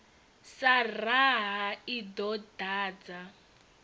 sa raha i ḓo dadza